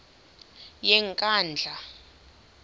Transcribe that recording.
yenkandla